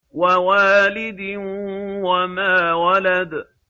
وَوَالِدٍ وَمَا وَلَدَ